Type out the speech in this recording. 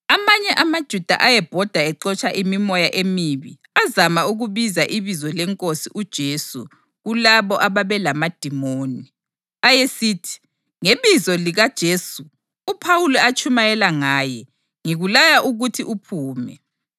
Amanye amaJuda ayebhoda exotsha imimoya emibi azama ukubiza ibizo leNkosi uJesu kulabo ababelamadimoni. Ayesithi, “Ngebizo likaJesu uPhawuli atshumayela ngaye, ngikulaya ukuthi uphume.”